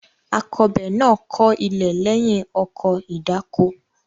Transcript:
Akọbè náà kọ ilẹ̀ lẹ́yìn ọkọ̀ ìdáko.